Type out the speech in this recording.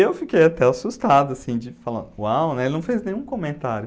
Eu fiquei até assustado assim, de falar, uau, ele não fez nenhum comentário.